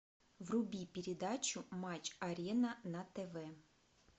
вруби передачу матч арена на тв